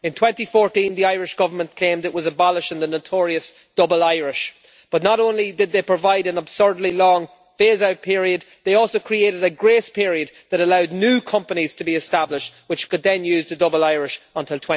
In 2014, the Irish Government claimed it was abolishing the notorious double Irish' but not only did they provide an absurdly long phase out period, they also created a grace period that allowed new companies to be established which could then use the double Irish until